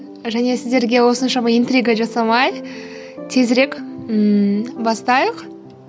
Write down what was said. және сіздерге осыншама интрига жасамай тезірек ммм бастайық